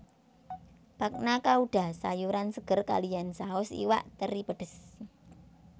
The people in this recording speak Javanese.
Bagna Cauda sayuran seger kaliyan saus iwak teri pedes